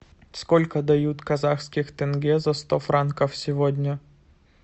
сколько дают казахских тенге за сто франков сегодня